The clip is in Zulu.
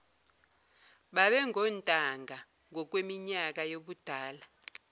babengontanga ngokweminyaka yobudala